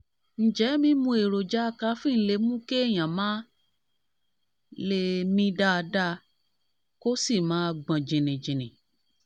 ǹjẹ́ mímu èròjà kaféènì lè mú kéèyàn má lè mí dáadáa kó sì máa gbọ̀n jìnnìjìnnì?